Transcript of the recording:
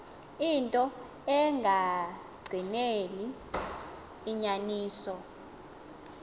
into engagqineli inyaniso